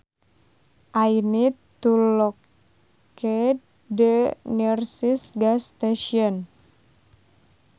I need to locate the nearest gas station